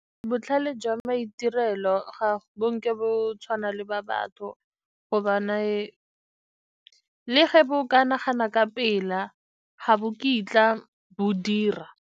Botlhale jwa maitirelo ga bo nke bo tshwana le ba batho gobane le ge bo ka nagana ka pela, ga bo kitla bo dira.